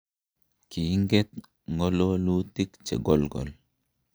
Kingeet ng'ololuutik che kolgol.